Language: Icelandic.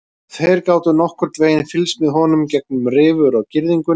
Þeir gátu nokkurn veginn fylgst með honum gegnum rifur á girðingunni.